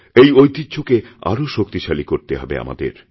এই ঐতিহ্যকে আরওশক্তিশালী করতে হবে আমাদের